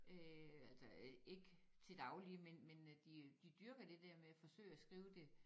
Øh altså ikke til daglig men men de de dyrker det der med at forsøge at skrive det